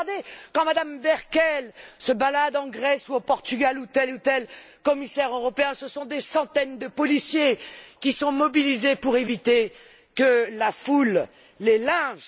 Mais regardez, quand Mme Merkel se balade en Grèce ou au Portugal, ou tel ou tel commissaire européen, ce sont des centaines de policiers qui sont mobilisés pour éviter que la foule les lynche.